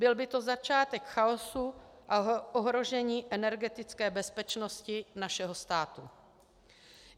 Byl by to začátek chaosu a ohrožení energetické bezpečnosti našeho státu.